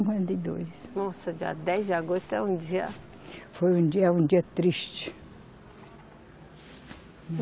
e dois. Nossa, dia dez de agosto é um dia. Foi um dia, um dia triste.